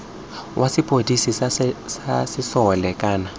wa sepodisi sa sesole kana